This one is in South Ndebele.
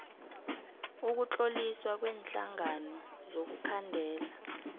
ukutloliswa kweenhlangano zokukhandela